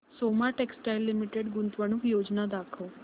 Soma textile limited गुंतवणूक योजना दाखव